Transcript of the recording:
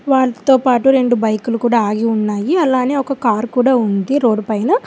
వాళ్ళతో పాటు రెండు బైకులు కూడా ఆగి ఉన్నాయి అలానే ఒక కారు కూడా ఉంది రోడ్డు పైన.